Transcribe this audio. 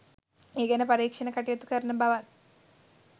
ඒ ගැන පරීක්ෂණ කටයුතු කරන බවත්